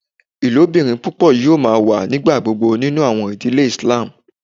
Ilobirin pupọ yoo ma wa nigbagbogbo ninu awọn idile Islam